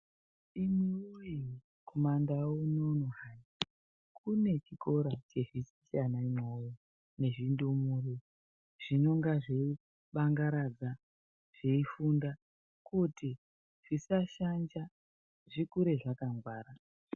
Imi woye kumandau unono hai, kune chikora chodzidzise ana imwewo nezvindumure zvinonga zveibangaradza, zveifunda kuti zvisashanja zvikure zvakangwara.